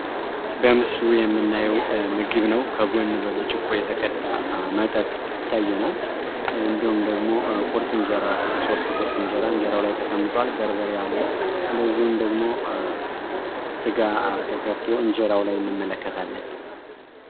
በምስሉ የምናየው ምግብ ነው። ከጎን በብርጭቆ የተቀዳ መጠጥ ይታያል። እንዲሁም ደግሞ ቁርጥ እንጀራ፣ ሶስት ቁርጥ እንጀራ እንጀራው ላይ ተቀምጥዋል። በርበሬ አለ። እንደዚሁም ደሞ ስጋ ተሰርቶ እንጀራው ላይ እንመለከታለን።